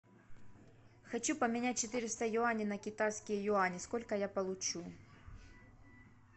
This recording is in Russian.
хочу поменять четыреста юаней на китайские юани сколько я получу